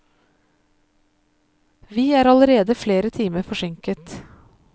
Vi er allerede flere timer forsinket.